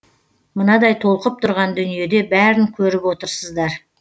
мынадай толқып тұрған дүниеде бәрін көріп отырсыздар